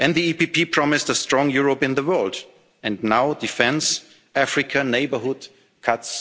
The EPP promised a strong Europe in the world, and now defence, Africa, neighbourhood are being